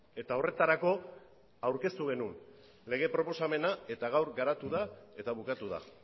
eta horretarako aurkeztu genuen lege proposamena eta gaur garatu da eta bukatu da